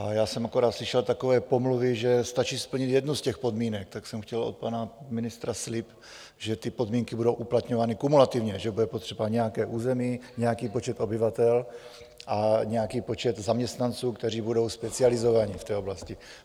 A já jsem akorát slyšel takové pomluvy, že stačí splnit jednu z těch podmínek, tak jsem chtěl od pana ministra slib, že ty podmínky budou uplatňovány kumulativně, že bude potřeba nějaké území, nějaký počet obyvatel a nějaký počet zaměstnanců, kteří budou specializovaní v té oblasti.